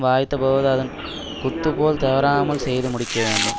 வாய்த்த போது அதன் குத்து போல் தவறாமல் செய்து முடிக்க வேண்டும்